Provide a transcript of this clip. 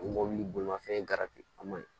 O mobili bolimafɛn a man ɲi